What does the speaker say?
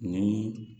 Ni